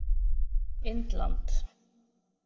Indland